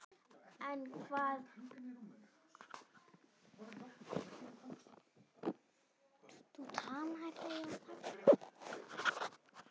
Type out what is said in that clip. En hvað á að gera?